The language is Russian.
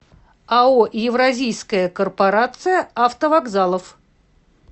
ао евразийская корпорация автовокзалов